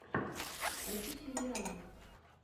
хочу сериалы